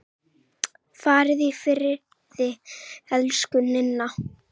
Far í friði, elsku Ninna.